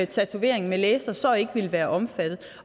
tatoveringer med laser så ikke ville være omfattet